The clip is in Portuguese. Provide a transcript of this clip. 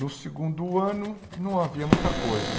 No segundo ano, não havia muita coisa.